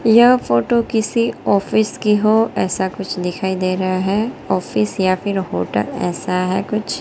यह फोटो किसी ऑफिस की हो ऐसा कुछ दिखाई दे रहा है ऑफिस या फिर होटल ऐसा है कुछ।